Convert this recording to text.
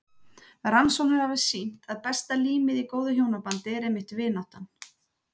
Rannsóknir hafa sýnt að besta límið í góðu hjónabandi er einmitt vináttan.